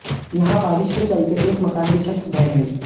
यहां बारिश के चलते एक मकान की छत ढह गई